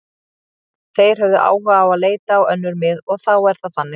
Þeir höfðu áhuga á að leita á önnur mið og þá er það þannig.